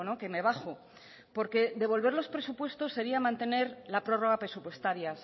que me bajo porque devolver los presupuestos sería mantener la prórroga presupuestaria